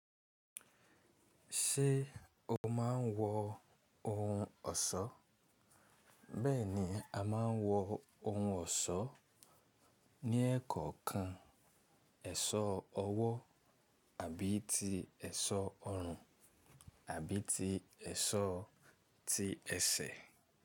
Ṣé o máa ń wọ ohun ọ̀ṣọ́? Bẹ́ẹ̀ni, a máa ń wọ ohun ọ̀ṣọ́ ní ẹ́kọ̀ọ́ kan, ẹṣọ ọwọ́ àbí ti ẹṣọ ọrùn àbí ti ẹṣọ tí ẹsẹ̀.